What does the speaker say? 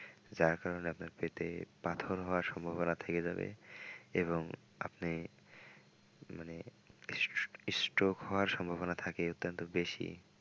যার কারনে আপনার পেটে পাথর হওয়ার সম্ভাবনা থেকে যাবে এবং আপনি মানে stroke হওয়ার সম্ভাবনা থাকে অত্যন্ত বেশি।